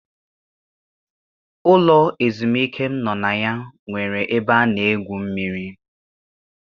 Ụlọ ezumike m nọ na ya nwere ebe a na-egwu mmiri.